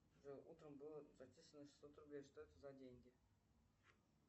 джой утром было зачислено шестьсот рублей что это за деньги